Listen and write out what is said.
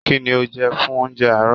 Kínní o jẹ fún oúnjẹ àárọ̀?